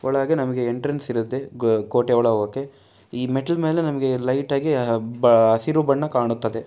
ಒಳಗೆ ನಮಗೆ ಎಂಟ್ರನ್ಸ್ ಇರತ್ತೆ ಗೊ ಕೋಟೆ ಓಳಗ್ ಒಗಕೆ . ಈ ಮೆಟ್ಲುಮೇಲೆ ನಮ್ಗೆ ಲೈಟ್ ಆಗಿ ಅಹ್ ಬ ಹಸಿರು ಬಣ್ಣ ಕಾಣುತ್ತದೆ.